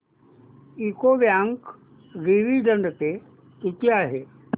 UCO bank dividend pay किती आहे